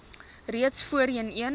reeds voorheen een